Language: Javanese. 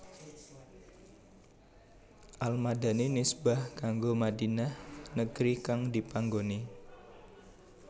Al Madani nisbah kanggo Madinah negri kang dipanggoni